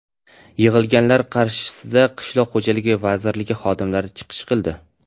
Yig‘ilganlar qarshisida Qishloq xo‘jaligi vazirligi xodimlari chiqish qildi.